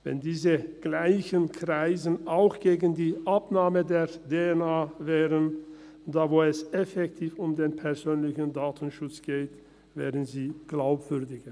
Wenn dieselben Kreise auch gegen die Abnahme der DNA wären, wo es effektiv um den persönlichen Datenschutz geht, wären sie glaubwürdiger.